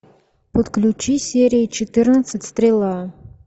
подключи серия четырнадцать стрела